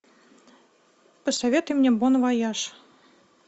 посоветуй мне бон вояж